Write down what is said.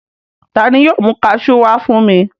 Ta ni yóò mú kaṣú wá fún mi?